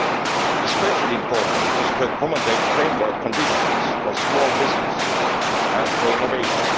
It is especially important to accommodate framework conditions for small businesses and for innovation.